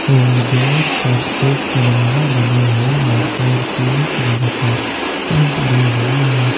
और दीवार पर एक तिरंगा बना हुआ है और पीले कलर का पेंट भी हुआ है।